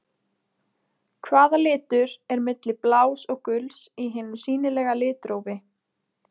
Hvaða litur er milli blás og guls í hinu sýnilega litrófi?